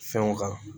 Fɛnw kan